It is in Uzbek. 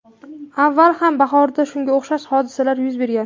Avval ham bahorda shunga o‘xshash hodisalar yuz bergan.